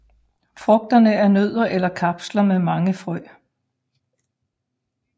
Frugterne er nødder eller kapsler med mange frø